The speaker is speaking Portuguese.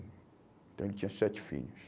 Então ele tinha sete filhos.